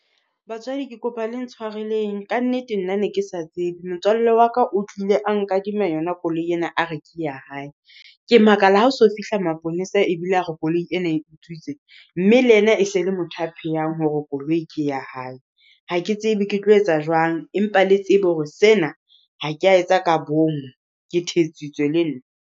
Batswadi ke kopa le ntshwareleng, ka nnete nna ne ke sa tsebe. Motswalle wa ka o tlile a nkadime yona koloi ena, a re ke ya hae. Ke makala ha o so fihla maponesa ebile a re koloi ena e utswitswe, mme le yena e se le motho a pheyang hore koloi ke ya hae. Ha ke tsebe ke tlo etsa jwang, empa le tsebe hore sena, ha ka etsa ka bomo ke thetsitswe le nna.